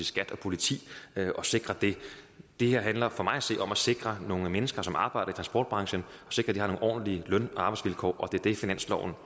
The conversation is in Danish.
skat og politi at sikre det det her handler for mig at se om at sikre at de mennesker som arbejder i transportbranchen har nogle ordentlige løn og arbejdsvilkår og det finansloven